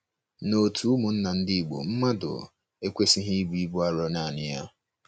N’òtù ụmụnna ndi Igbo, mmadụ ekwesịghị ibu ibu arọ nanị ya.